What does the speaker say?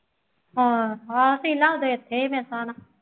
ਹਾਂ ਸ਼ੀਲਾ ਉਦੋਂ ਇੱਥੇ ਸੀ ਮੇਰੇ ਹਿਸਾਬ ਨਾਲ